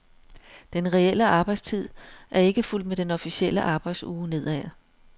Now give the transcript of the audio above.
Den reelle arbejdstid er ikke fulgt med den officielle arbejdsuge nedad.